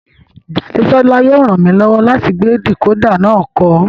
Jadesola yóò ràn mí lọ́wọ́ láti gbé dìkódà náà kọ́